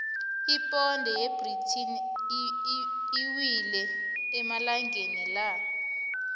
iponde yebritain iwile amalangana la